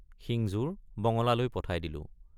শিংযোৰ বঙলালৈ পঠাই দিলোঁ।